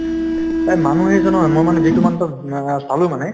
এই মানুহ এজনৰ মই মানে যিটো চালো মানে